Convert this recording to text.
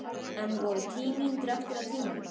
Enn voru tíu mínútur eftir af tímanum.